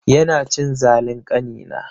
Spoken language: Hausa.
Yana cin zalin ƙanina.